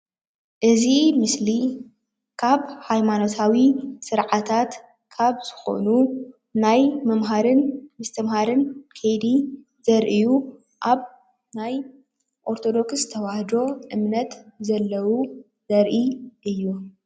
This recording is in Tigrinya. እዚ ምስሊ ካብ ሃይማኖታዊ ስርዓታት ካብ ዝኮኑ ናይ ምምሃርን ምስትማሃር ከይዲ ዘርእዩ ኦርቶዶክስት ተዋህዶ ዘርኢ እዩ፡፡